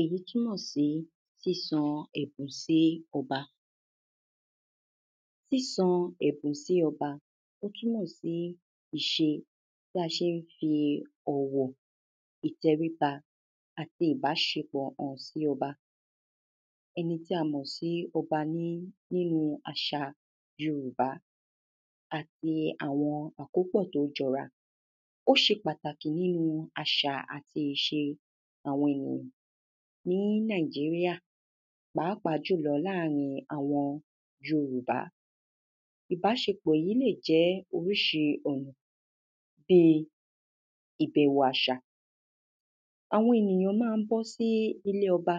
èyí túnmọ̀ sí sísan ẹ̀bùn sí ọba. sísan ẹ̀bùn sí ọba, ó túnmọ̀ sí ìṣe, bí a ṣén fi ọ̀wọ̀, ìtẹríba, àti ìbáṣepọ̀ hàn sí ọba ẹni tí a mọ̀ sí ọba ní nínu àṣa yorùbá, àti àwọn àkópọ̀ tó jọra. óṣe pàtàkì nínu àṣà àti ìṣe àwọn ènìyàn ní nàíjíríà pàápàá jùlọ láàrin àwọn yorùbá. ìbáṣepọ̀ yí lè jẹ́ oríṣi ọ̀nà bíi ìbẹ̀wò àṣà, àwọn ènìyàn ma ń bọ́ sí ilé ọba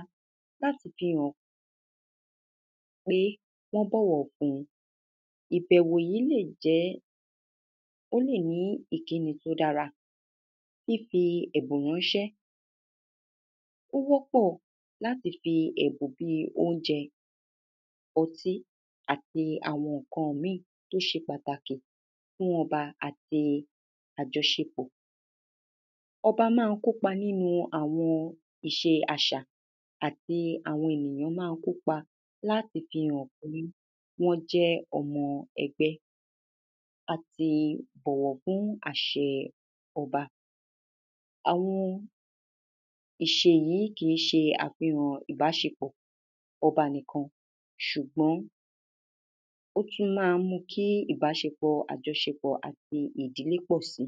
láti fi hàn pé wọ́n bọ̀wọ̀ fun, ìbẹ̀wò yí lè jẹ́, ó lè ní ìkíni tó dára. fífi ẹ̀bùn ránṣẹ́, o wọ́pọ̀ láti fi ẹ̀bùn bíi; óunjẹ, ọtí, àti àwọn ǹkan míì tó ṣe pàtàkì fún ọba àti àjọṣepọ̀. ọbá ma ń kópa nínu àwọn ìṣe àṣà àti àwọn ènìyán ma ń kópa láti fi hàn pé wọ́n jẹ́ ọmọ ẹgbẹ́, àti bọ̀wọ̀ fún àṣẹ ọba. àwọn ìṣe yìí kìí ṣe àfihàn ìbáṣepọ̀ ọba nìkan, ṣùgbọ́n ó tún ma ń mú kí ìbáṣepọ̀ àjọṣepọ̀ àti ìdílè pọ̀ si.